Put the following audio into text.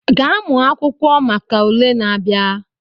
Gaa mụọ akwụkwọ maka ule na-abịa!